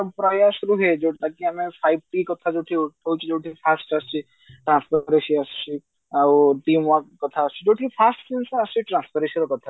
ତାକି ଆମେ first ଆସୁଛି transference ଆସୁଛି ଆଉ team work କଥା ଆସୁଛି ଯୋଉଠି first ଜିନିଷ ଆସୁଛି transference ର କଥା